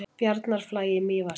Bjarnarflagi í Mývatnssveit.